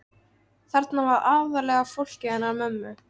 Þarna var aðallega fólkið hennar mömmu.